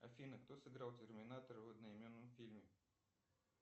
афина кто сыграл терминатора в одноименном фильме